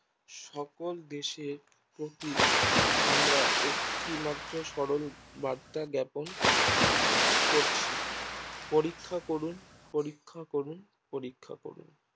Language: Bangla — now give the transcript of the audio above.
সকল দেশের প্রতি আমরা একটি মাত্র সরল বার্তা বেপক করছি পরীক্ষা করুন পরীক্ষা করুন পরীক্ষা করুন